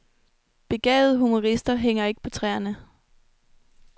Begavede humorister hænger ikke på træerne.